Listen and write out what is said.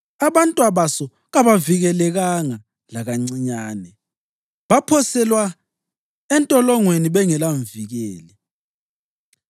Abantwabaso kabavikelekanga lakancinyane, baphoselwa entolongweni bengelamvikeli.